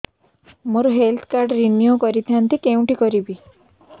ମୋର health card renew କରିଥାନ୍ତି କୋଉଠି କରିବି